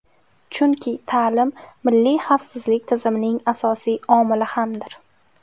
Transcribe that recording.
Chunki ta’lim milliy xavfsizlik tizimining asosiy omili hamdir.